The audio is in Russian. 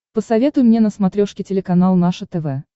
посоветуй мне на смотрешке телеканал наше тв